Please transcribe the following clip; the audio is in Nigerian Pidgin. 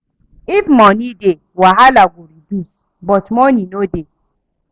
If money dey wahala go reduce, but money no dey.